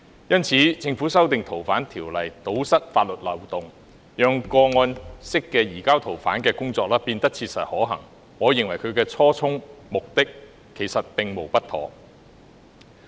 因此，政府提出修訂《條例》，堵塞法律漏洞，讓個案式的移交逃犯工作變得切實可行，我認為其初衷和目的，其實並無不妥。